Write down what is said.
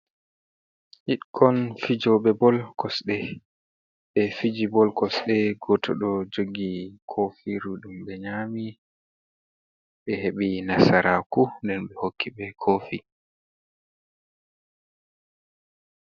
Hidkon fijobe bol kosɗe be fiji bol kosde goto do joggi kofi rudum be nyami be heɓi nasaraku nden ɓe hokki be kofi.